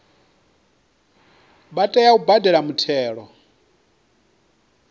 vha tea u badela muthelo